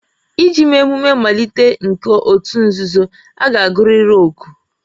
Iji mee emume mmalite nke òtù nzuzo, a ga-agụrịrị oku